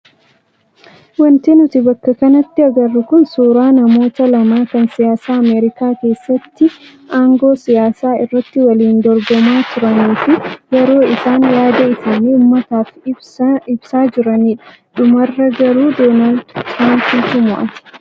Wanti nuti bakka kanatti agarru kun suuraa namoota lama kan siyaasa Ameerikaa keessatti aangoo siyaasaa irratti waliin dorgomaa turanii fi yeroo isaan yaada isaanii uummataaf ibsaa jiranidha. Dhumarra garuu Doonaald Tiraampituu mo'ate.